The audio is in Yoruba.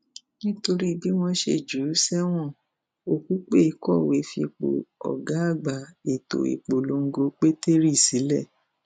nítorí bí wọn ṣe jù ú sẹwọn òkùpẹ kọwé fípò ọgá àgbà ètò ìpolongo pétérì sílẹ